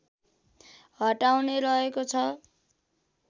हटाउने रहेको छ